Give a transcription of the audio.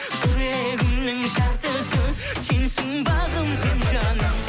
жүрегімнің жартысы сенсің бағым сен жаным